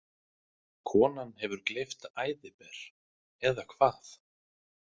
Hefur konan gleypt æðiber, eða hvað?